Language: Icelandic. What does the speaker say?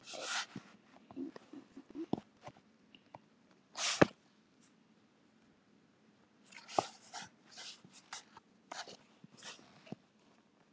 Bíðið aðeins!